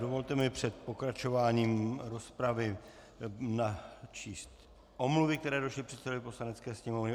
Dovolte mi před pokračováním rozpravy načíst omluvy, které došly předsedovi Poslanecké sněmovny.